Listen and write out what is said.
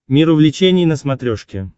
мир увлечений на смотрешке